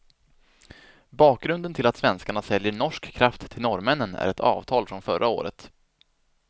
Bakgrunden till att svenskarna säljer norsk kraft till norrmännen är ett avtal från förra året.